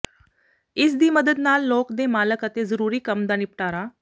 ਇਸ ਦੀ ਮਦਦ ਨਾਲ ਲੋਕ ਦੇ ਮਾਲਕ ਅਤੇ ਜ਼ਰੂਰੀ ਕੰਮ ਦਾ ਿਨਪਟਾਰਾ